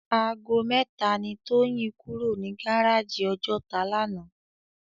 Àgó mètá ni Toyin kúró ni gáráji Òjòtá làná